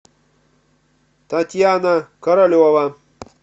татьяна королева